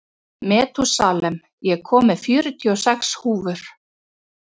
Metúsalem, ég kom með fjörutíu og sex húfur!